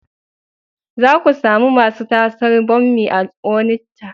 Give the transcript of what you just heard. Za ku sami masu tasar bommi a Onitsha.